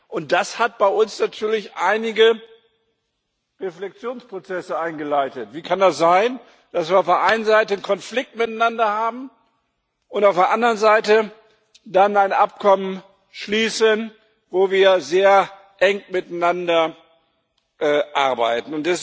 Und das hat bei uns natürlich einige Reflexionsprozesse eingeleitet. Wie kann es sein, dass wir auf der einen Seite den Konflikt miteinander haben und auf der anderen Seite dann ein Abkommen schließen, wo wir sehr eng miteinander arbeiten?